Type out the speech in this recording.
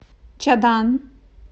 чадан